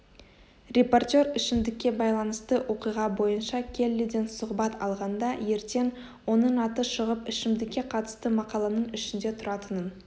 репортер ішімдікке байланысты оқиға бойынша келлиден сұхбат алғанда ертең оның аты шығып ішімдікке қатысты мақаланың ішінде тұратынын